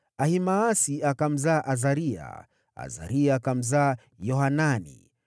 Ahimaasi akamzaa Azaria, Azaria akamzaa Yohanani,